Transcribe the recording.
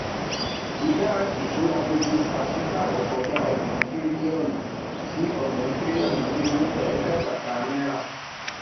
ìdá ìṣúra gbogbo pàsípàrọ kọjá ọgbọn tírílíọnù sí ọgbọn tírílíọnù lé ẹẹdẹgbàáta náírà